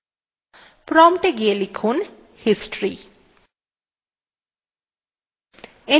prompt এ গিয়ে লিখুন history